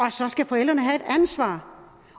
og så skal forældrene have et ansvar